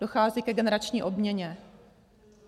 Dochází ke generační obměně.